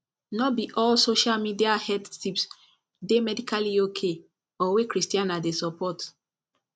no be all social media health tips dey medically okay or wey christiana dey support